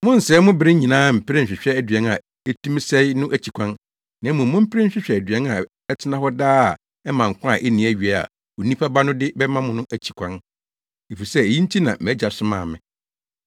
Monnsɛe mo bere nyinaa mpere nhwehwɛ aduan a etumi sɛe no akyi kwan, na mmom mompere nhwehwɛ aduan a ɛtena hɔ daa a ɛma nkwa a enni awiei a Onipa Ba no de bɛma mo no akyi kwan. Efisɛ eyi nti na mʼAgya somaa me.”